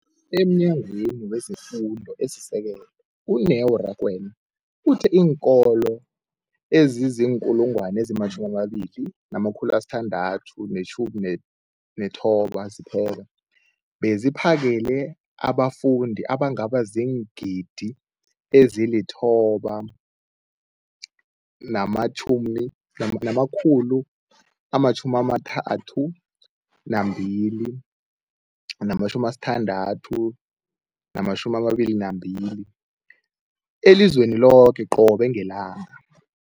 EmNyangweni wezeFundo esiSekelo, u-Neo Rakwena, uthe iinkolo ezizi-20 619 zipheka beziphakele abafundi abangaba ziingidi ezili-9 032 622 elizweni loke qobe ngelanga.